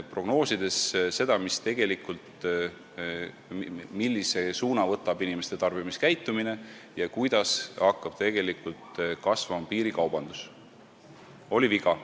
Prognoosides seda, millise suuna võtab inimeste tarbimiskäitumine ja kuidas hakkab kasvama piirikaubandus, tegime vea.